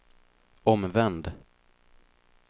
omvänd